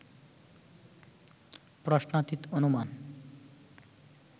প্রশ্নাতীত অনুমান